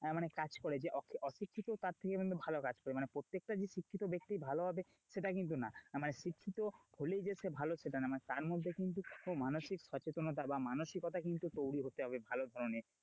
কাজ করে যে অশিক্ষিত তার থেকে কিন্তু ভালো কাজ করে, মানে প্রত্যেকটা যে শিক্ষিত ব্যক্তি ভালো হবে সেটা কিন্তু না, মানে শিক্ষিত হলেই যে সে ভালো সেটা না, তার মধ্যে কিন্তু মানসিক সচেনতা বা মানসিকতা কিন্তু তৈরি হতে হবে ভালো ধরনের,